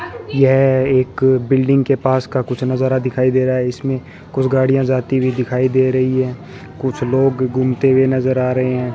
यह एक बिल्डिंग के पास का कुछ नजारा दिखाई दे रहा है इसमें कुछ गाड़ियां जाती भी दिखाई दे रही है कुछ लोग घूमते हुए नजर आ रहे हैं।